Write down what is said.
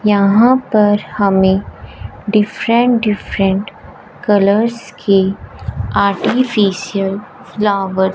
यहां पर हमें डिफरेंट डिफरेंट कलर्स कि आर्टिफिशियल फ्लावर --